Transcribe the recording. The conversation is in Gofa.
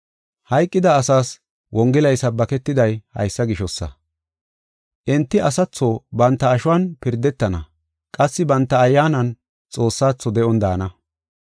Hayqida asaas Wongelay sabbaketiday haysa gishosa. Enti asatho banta ashuwan pirdetana qassi banta ayyaanan Xoossaatho de7on daana.